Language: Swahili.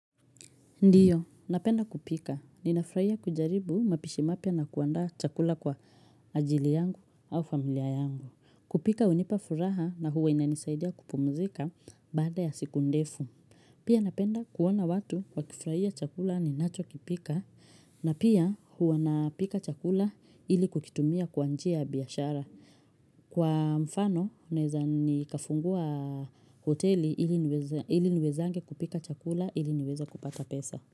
Ndiyo, napenda kupika. Ninafurahia kujaribu mapishi mapya na kuandaa chakula kwa ajili yangu au familia yangu. Kupika hunipa furaha na huwa inanisaidia kupumzika baada ya siku ndefu. Pia napenda kuona watu wakifuraia chakula ninacho kipika na pia huwa napika chakula ili kukitumia kwa njia ya biashara. Kwa mfano, naeza nikafungua hoteli ili niwezange kupika chakula ili niweze kupata pesa.